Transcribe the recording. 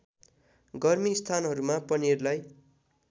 गर्मी स्थानहरूमा पनिरलाई